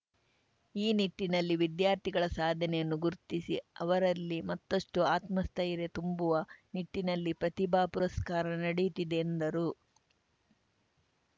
ಈ ನಿಟ್ಟಿನಲ್ಲಿ ವಿದ್ಯಾರ್ಥಿಗಳ ಸಾಧನೆಯನ್ನು ಗುರ್ತಿಸಿ ಅವರಲ್ಲಿ ಮತ್ತುಷ್ಟುಆತ್ಮಸ್ಥೈರ್ಯ ತುಂಬುವ ನಿಟ್ಟಿನಲ್ಲಿ ಪ್ರತಿಭಾ ಪುರಸ್ಕಾರ ನಡೆತ್ತಿದೆ ಎಂದರು